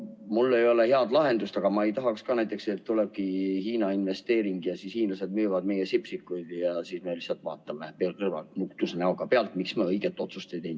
Mul ei ole head lahendust, aga ma ei tahaks ka näiteks, et tulebki Hiina investeering ja siis hiinlased müüvad meie Sipsikuid ja meie lihtsalt vaatame nutuse näoga pealt, miks me õiget otsust ei teinud.